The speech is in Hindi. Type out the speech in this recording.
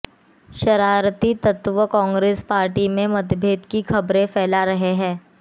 शरारती तत्व कांग्रेस पार्टी में मतभेद की खबरें फैला रहे हैं